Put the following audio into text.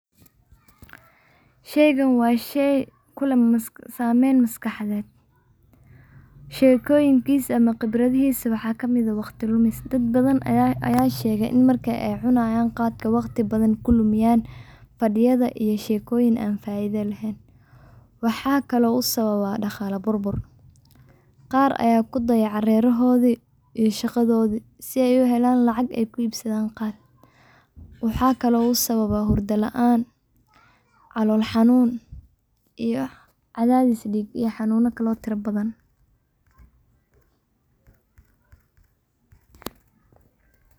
Sheeygan waa sheey kuleh saameen maskaxadeed, sheekoyin kiisa ama qibradahiisa waxaa kamid ah waqti Lumis, dad badan ayaa sheege in markaay cunaayaan khaadka waqti badan kulumiyaan, fadiyada iyo sheekoyin aan faida leheen, waxaa kale uu sababaa daqaala burbur ,qaar ayaa kudayacaa reerahoodi iyo shaqadoodi, si aay uhelaan lacag aay ku iibsadaan khaat, waxaa kale uu sababaa hurda laan, calool xanuun iyo cadaadis diig iyo xanuuna kale oo tira badan.